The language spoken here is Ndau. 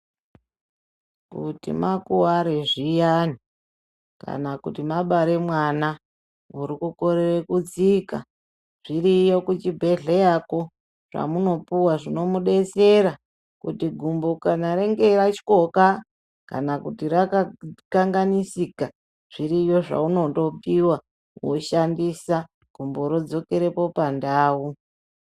Kuti makuware zviyani kana kuti mabare mwana murikukorere kutsika, zviroyo kuchibhedhleyako zvamunopuwa zvinomudetsera kuti gumbo kana range ratyoka, kana kuti rakakanganisika zviriyo zvaunondopuwa woshandisa, gumbo rodzokerepo pandau.